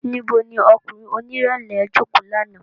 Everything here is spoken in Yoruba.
Nibo ni ọkunrin onirẹlẹ joko làná?